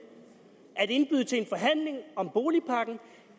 en boligpakke og